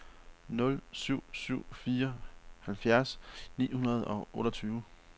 nul syv syv fire halvfjerds ni hundrede og otteogtyve